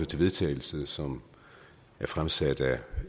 til vedtagelse som er fremsat af